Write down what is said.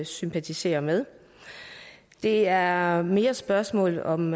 sympatisere med det er mere spørgsmålet om